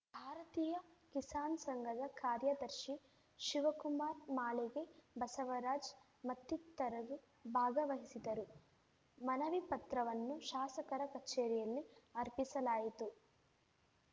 ಭಾರತೀಯ ಕಿಸಾನ್‌ ಸಂಘದ ಕಾರ್ಯದರ್ಶಿ ಶಿವಕುಮಾರ್‌ ಮಾಳಿಗೆ ಬಸವರಾಜ್‌ ಮತ್ತಿತರರು ಭಾಗವಹಿಸಿದರು ಮನವಿ ಪತ್ರವನ್ನು ಶಾಸಕರ ಕಚೇರಿಯಲ್ಲಿ ಅರ್ಪಿಸಲಾಯಿತು